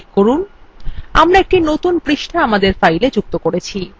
এটি একটি নতুন পাতা আমাদের file যুক্ত করবে